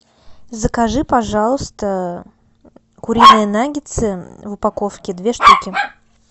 закажи пожалуйста куриные наггетсы в упаковке две штуки